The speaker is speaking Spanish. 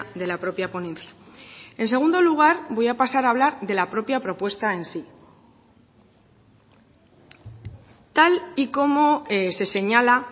de la propia ponencia en segundo lugar voy a pasar a hablar de la propia propuesta en sí tal y como se señala